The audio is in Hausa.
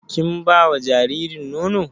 Kin ba wa jaririn nono?